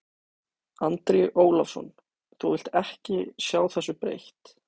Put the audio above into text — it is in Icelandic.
Andri Ólafsson: Þú vilt ekki sjá þessu breytt?